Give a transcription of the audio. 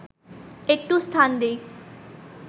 একটু স্থান দিই